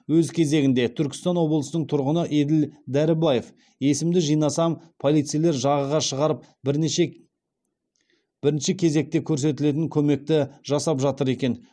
өз кезегінде түркістан облысының тұрғыны еділ дәрібаев есімді жинасам полицейлер жағаға шығарып бірнеше бірінші кезекте көрсетілетін көмекті жасап жатыр екен